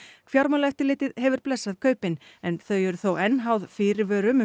fjármálaeftirlitið hefur blessað kaupin en þau eru þó enn háð fyrirvörum um